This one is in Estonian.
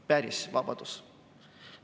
Päris vabadus.